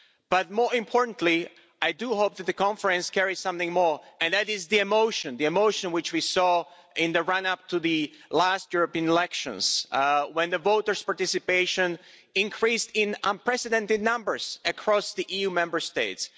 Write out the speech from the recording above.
But, more importantly, I hope that the conference carries something more, and that is the emotion the emotion which we saw in the run up to the last European elections, when voters' participation increased in unprecedented numbers across the EU Member States.